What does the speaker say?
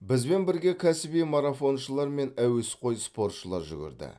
бізбен бірге кәсіби марафоншылар мен әуесқой спортшылар жүгірді